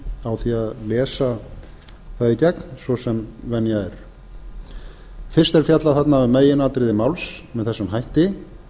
á því að lesa það í gegn svo sem venja er fyrst er fjallað þarna um meginatriði máls með þessum hætti